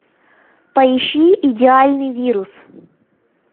поищи идеальный вирус